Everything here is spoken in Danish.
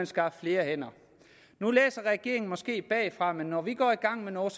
skaffes flere hænder nu læser regeringen måske bagfra men når vi går i gang med noget